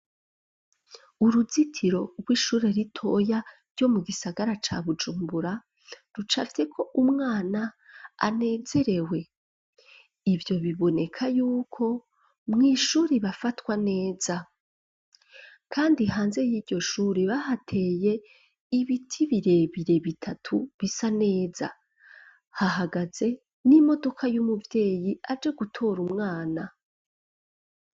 Uruzitiro rw'ishure ritoya ryo mu gisagara ca Bujumbura rucafyeko umwana anezerewe, ivyo biboneka yuko mw'ishuri bafatwa neza kandi hanze y'iryo shure bahateye ibiti birebire bitatu bisa neza, hahagaze n'imodoka y'umuvyeyi aje gutora umwana.